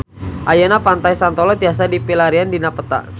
Ayeuna Pantai Santolo tiasa dipilarian dina peta